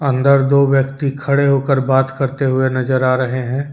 अंदर दो व्यक्ति खड़े होकर बात करते हुए नज़र आ रहे हैं।